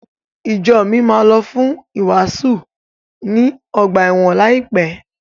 Ìjo mi máa lọ fún ìwàásù ní ọgbà ẹ̀wọ̀n láìpẹ́.